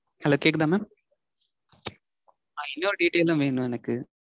Hello கேக்குதா mam? ஆஹ் இன்னொரு detail உம் வேணும் எனக்கு